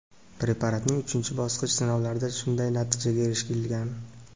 preparatning uchinchi bosqich sinovlarida shunday natijaga erishilgan.